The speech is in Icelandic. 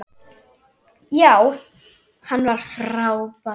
Já, hann er frábær.